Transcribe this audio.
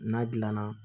N'a gilanna